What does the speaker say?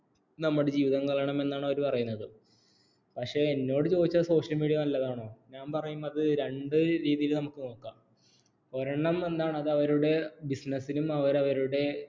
നമ്മുടെ ജീവിതം കളയണമെന്നാണ് അവര് പറയുന്നത് പക്ഷേ എന്നോട് ചോദിച്ചാൽ social media നല്ലതാണ്ഞാൻ പറയും അത് രണ്ട് രീതിയിൽ നമുക്ക് നോക്കാം ഒരെണ്ണം എന്താണ് അത് അവരുടെ business നും അവർ അവരുടെ